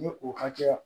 Ni o hakɛya